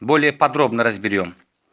более подробно разберём